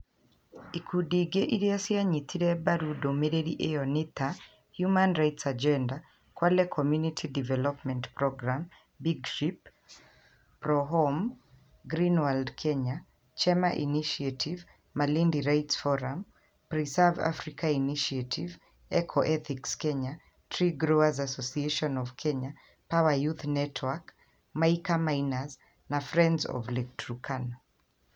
ĩkundi ingĩ iria cianyitire mbaru ndũmĩrĩri ĩyo nĩ ta Human Rights Agenda, Kwale Community Development Programme, Big Ship, Prohome, Green World Kenya, Chema ĩnitiative, Malindi Rights Forum, Preserve Africa ĩnitiative, Eco Ethics Kenya, Tree Growers Association of Kenya, Power Youth Network, Mica Miners na Friends of Lake Turkana.